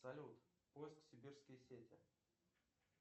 салют поиск сибирские сети